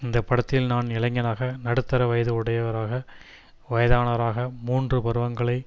இந்த படத்தில் நான் இளைஞனாக நடுத்தர வயது உடையவராக வயதானவராக மூன்று பருவங்களை